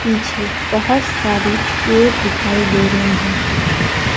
पीछे बहोत सारी पेड़ दिखाई दे रहे हैं।